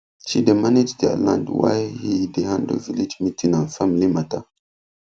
she dey manage their land while he dey handle village meeting and family matter